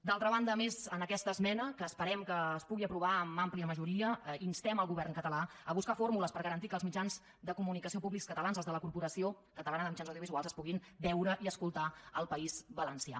d’altra banda a més amb aquesta esmena que esperem que es pugui aprovar per àmplia majoria instem el govern català a buscar fórmules per garantir que els mitjans de comunicació públics catalans els de la corporació catalana de mitjans audiovisuals es puguin veure i escoltar al país valencià